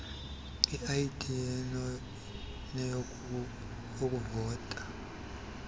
id enekhodi yokuvota